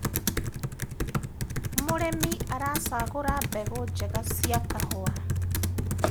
mũrĩmi aracagura mbegũ njega cia kahũa